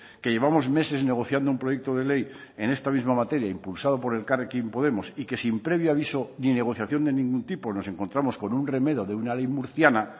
que llevamos meses negociando un proyecto de ley en esta misma materia impulsado por elkarrekin podemos y que sin previo aviso ni negociación de ningún tipo nos encontramos con un remedo de una ley murciana